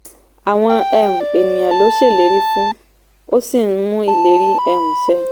àwọn um ènìyàn ló ń ṣèlérí fún ó sì ń mú ìlérí um ṣẹ.